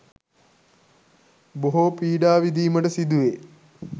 බොහෝ පීඩා විඳීමට සිදුවේ.